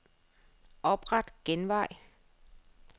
Opret genvej.